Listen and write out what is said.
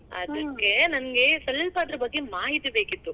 ಅದ್ಕೆ ನಂಗೆ ಸ್ವಲ್ಪ ಅದ್ರ ಬಗ್ಗೆ ಮಾಹಿತಿ ಬೇಕಿತ್ತು.